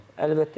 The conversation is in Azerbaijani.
Əlbəttə ki.